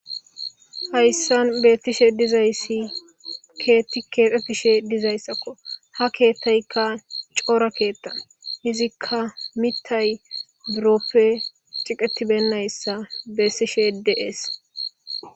Hayssan beetishe dizayssi keeti keexetishe dizaysakko ha keethaykka cora keeta iziika mitay biroppe tiqetibenayssa besiishe de'es.